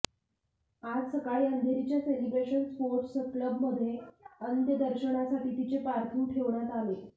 आज सकाळी अंधेरीच्या सेलिब्रेशन स्पोर्टस क्लबमध्ये अंत्यदर्शनासाठी तिचे पार्थिव ठेवण्यात आले